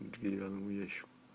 деревянный ящик